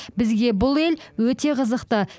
бізге бұл ел өте қызықты